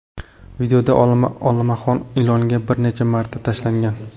Videoda olmaxon ilonga bir necha marta tashlangan.